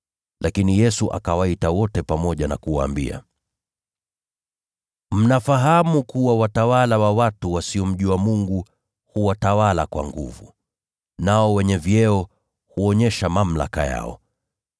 Lakini Yesu akawaita wote pamoja na kuwaambia, “Mnafahamu kuwa watawala wa watu wa Mataifa huwatawala kwa nguvu, nao wenye vyeo huonyesha mamlaka yao.